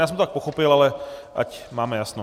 Já jsem to tak pochopil, ale ať máme jasno.